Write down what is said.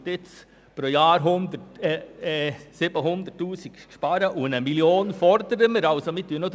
Nun werden pro Jahr 700 000 Franken gespart, und gefordert wird 1 Mio. Franken.